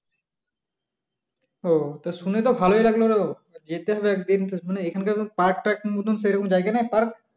ওহ তা শুনে তো ভালোই লাগলো যেতে হবে একদিন এখানকার park টার্ক মতন সে রকম জায়গা নেই park